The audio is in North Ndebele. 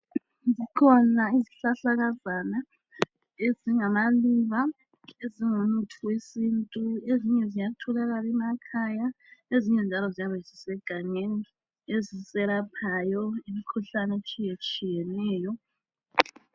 Zikhona izihlahalakazana ezingamaluba ezingumuthi wesintu ezinye ziyatholakala emakhaya, ezinye njalo ziyabe zisegangeni. Ezisiyelaphayo imikhuhlane etshiyetshiyeneyo.